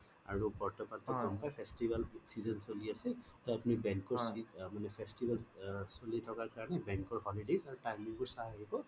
আৰু বৰ্তমান যিটো তোমাৰ festival season চলি আছে টোও bank ৰ festival চলি থকা কাৰণে bank ৰ holidays আৰু bank ৰ timing বোৰ চাই আহিব